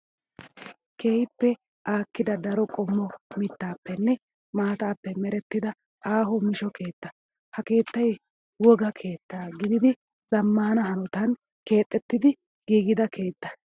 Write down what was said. Keehippe aakkida daro qommo mittaappenne maataappe merettida aaho meesho keettaa. Ha keettayi wogaa keetta gidiiddi zammaana hanotan keexettidi giigida keettaa.